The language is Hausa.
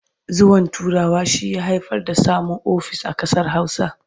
Zuwan Turawa shi ya haifar da samun ofis a ƙasar Hausa.